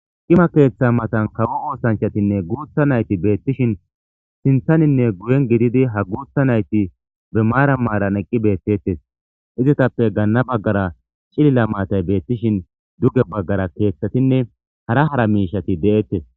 Cima keeththa matan kawo oosanchatinne guutha nayti beettishin sinthaninne guyen gididi ha guutha nayti be maara maaran eqqi beettettes izetappe gaanna baggara cilila maatay beettishin duge baggara keeththatinne hara hara miishati de7ettes